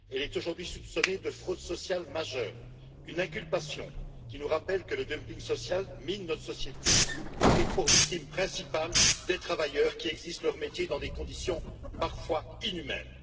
Elle est aujourd'hui soupçonnée de fraude sociale majeure, une inculpation qui nous rappelle que le dumping social mine notre société, avec pour victimes principales des travailleurs qui exercent leur métier dans des conditions parfois inhumaines.